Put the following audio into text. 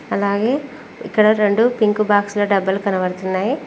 అలాగే ఇక్కడ రెండు పింక్ బాక్స్ ల డబ్బలు కనబడుతున్నాయి.